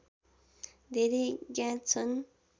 धेरै ज्ञात छन्